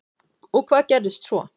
Og hvað gerðist svo?